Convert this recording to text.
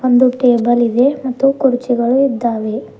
ಒಂದು ಟೇಬಲ್ ಇದೆ ಮತ್ತು ಕುರ್ಚಿಗಳು ಇದ್ದಾವೆ.